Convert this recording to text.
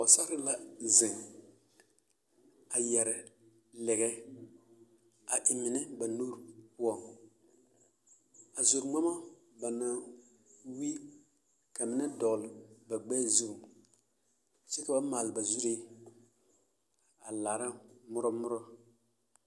Pɔgesarre la zeŋ a yɛre lɛɛ a eŋ mine ba nuuri poɔŋ a zore ŋmama ba naŋ wi dɔgele ba gbɛɛ zuŋ kyɛ ka ba maale ba zuree a laara morɔ morɔ.